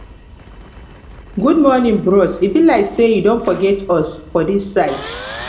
good morning bros e be like sey you don forget us for dis side